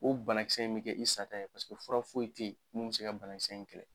O banakisɛ in bɛ kɛ i sata ye, paseke fura foyi tɛ yen mun bɛ se ka banakisɛ in kɛlɛ.